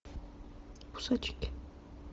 кусачки